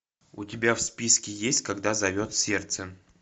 у тебя в списке есть когда зовет сердце